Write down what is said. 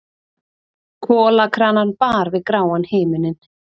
Kolakranann bar við gráan himininn.